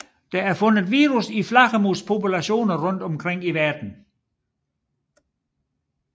Der er fundet virus i flagermuspopulationer rundt om i verden